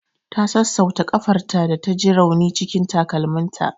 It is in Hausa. Ta sassauta ƙafarta da ta ji rauni cikin takalminta.